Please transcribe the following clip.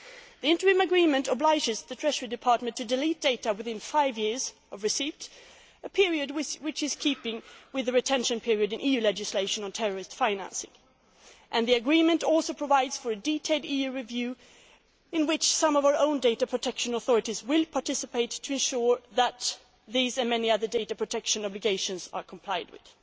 The interim agreement obliges the Treasury Department to delete data within five years of receipt a period which is in keeping with the retention period in EU legislation on terrorist financing. The agreement also provides for a detailed EU review in which some of our own data protection authorities will participate to ensure that these and many other data protection obligations are complied with.